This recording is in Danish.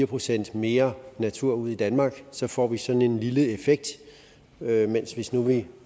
procent mere natur ud i danmark får vi sådan en lille effekt mens hvis nu vi